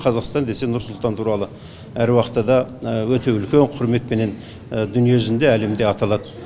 қазақстан десе нұр сұлтан туралы әруақытта да өте үлкен құрметпенен дүние жүзінде әлемде аталады